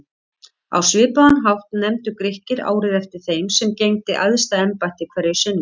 Á svipaðan hátt nefndu Grikkir árið eftir þeim sem gegndi æðsta embætti hverju sinni.